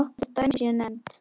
Svo nokkur dæmi séu nefnd.